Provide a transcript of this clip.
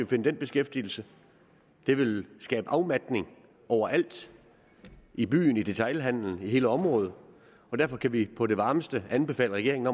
finde den beskæftigelse det vil skabe afmatning overalt i byen i detailhandelen i hele området og derfor kan vi på det varmeste anbefale regeringen